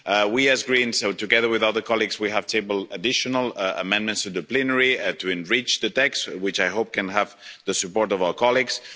We as Greens, together with other colleagues, have tabled additional amendments to the plenary to enrich the text, which I hope can have the support of our colleagues.